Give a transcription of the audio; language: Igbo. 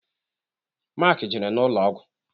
Mark jere n'ụlọ ọgwụ.